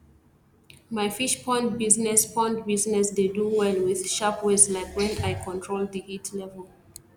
my fish pond business pond business dey do well with sharp ways like wen i control di heat level